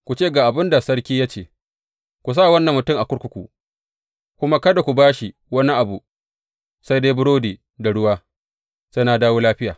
Ku ce ga abin da sarki ya ce, Ku sa wannan mutum a kurkuku, kuma kada ku ba shi wani abu sai dai burodi da ruwa, sai na dawo lafiya.’